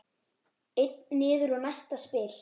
Einn niður og næsta spil.